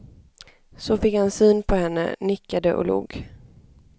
Så fick han syn på henne, nickade och log.